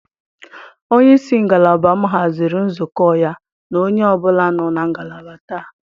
Onye isi ngalaba m haziri nzukọ ya na onye ọ bụla nọ na ngalaba taa.